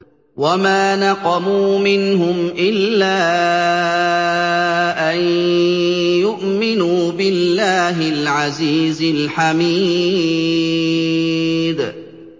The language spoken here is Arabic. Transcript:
وَمَا نَقَمُوا مِنْهُمْ إِلَّا أَن يُؤْمِنُوا بِاللَّهِ الْعَزِيزِ الْحَمِيدِ